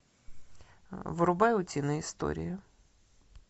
врубай утиные истории